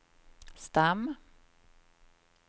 stam